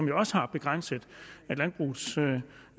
jo også har begrænset landbrugets